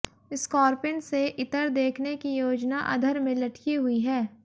Scorpene से इतर देखने की योजना अधर में लटकी हुई है